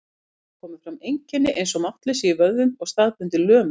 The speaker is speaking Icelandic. Þá koma fram einkenni eins og máttleysi í vöðvum og staðbundin lömun.